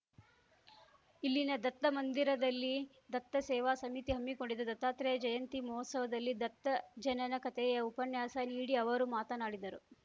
ಇಲ್ಲಿನ ದತ್ತ ಮಂದಿರದಲ್ಲಿ ದತ್ತಾಸೇವಾ ಸಮಿತಿ ಹಮ್ಮಿಕೊಂಡಿದ್ದ ದತ್ತಾತ್ರೇಯ ಜಯಂತಿ ಮಹೋತ್ಸವದಲ್ಲಿ ದತ್ತ ಜನನ ಕಥೆಯ ಉಪನ್ಯಾಸ ನೀಡಿ ಅವರು ಮಾತನಾಡಿದರು